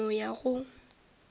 ke tla no ya go